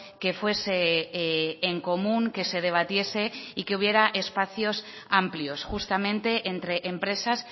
que fuese en común que se debatiese y que hubiera espacio amplios justamente entre empresas